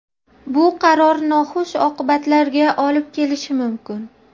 bu qaror noxush oqibatlarga olib kelishi mumkin.